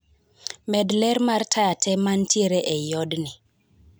Med ler mar taya tee mantiere ei odni